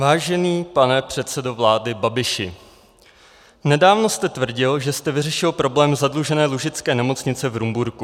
Vážený pane předsedo vlády Babiši, nedávno jste tvrdil, že jste vyřešil problém zadlužené Lužické nemocnice v Rumburku.